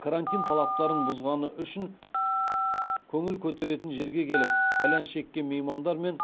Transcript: карантин талаптарын бұзғаны үшін көңіл көтеретін жерге келіп кальян шеккен меймандар мен